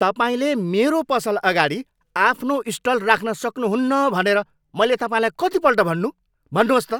तपाईँले मेरो पसल अगाडि आफ्नो स्टल राख्न सक्नुहुन्न भनेर मैले तपाईँलाई कतिपल्ट भन्नु? भन्नुहोस् त!